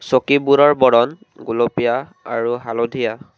চকীবোৰৰ বৰণ গুলপীয়া আৰু হালধীয়া।